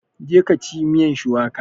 Je ka ci miyan shuwaka!